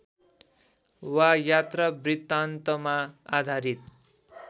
वा यात्रावृत्तान्तमा आधारित